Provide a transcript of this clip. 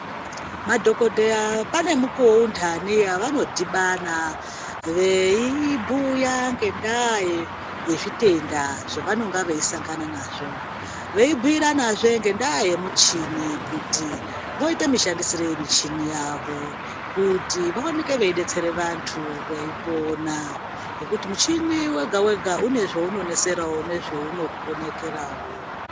Madhokodheya pane mukuwo wavanodhibana veibhuya ngendaa yezvitenda zvawanenga veisangana navo, veibhiyirana zve ngendaa yemuchini kuti voite mushandisirei muchini yavo kuti waoneke wei detsere vandu veipona, ngokuti muchini wega wega unezve unoneserawo, unezve unokonekera wo.